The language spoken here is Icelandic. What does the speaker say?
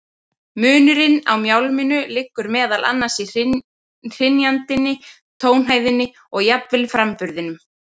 Munurinn á mjálminu liggur meðal annars í hrynjandinni, tónhæðinni og jafnvel framburðinum.